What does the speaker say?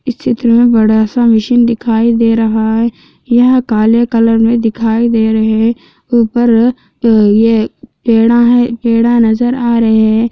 इस चित्र में बड़ा सा मशीन दिखाई दे रहा हैं यह काले कलर में दिखाई दे रहे हैं ऊपर ये पेड़ा हैं पेड़ा नजर आ रहे हैं।